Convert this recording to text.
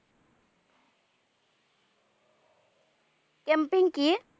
camping কি?